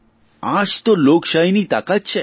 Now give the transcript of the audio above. આ જ તો લોકશાહીની તાકાત છે